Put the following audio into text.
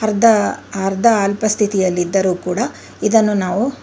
the ಅರ್ಧ ಅಲ್ಪ ಸ್ಥಿತಿಯಲ್ಲಿದ್ದರು ಕೂಡ ಇದನ್ನು ನಾವು--